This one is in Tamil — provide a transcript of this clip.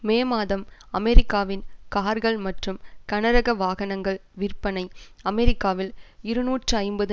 மே மாதம் அமெரிக்காவின் கார்கள் மற்றும் கனரக வாகனங்கள் விற்பனை அமெரிக்காவில் இருநூற்று ஐம்பது